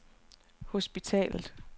hospitalet